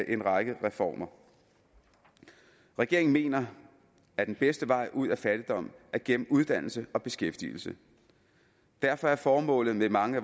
en række reformer regeringen mener at den bedste vej ud af fattigdom er gennem uddannelse og beskæftigelse derfor er formålet med mange